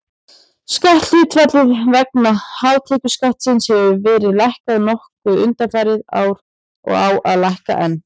Skatthlutfallið vegna hátekjuskattsins hefur verið lækkað nokkuð undanfarin ár og á að lækka enn.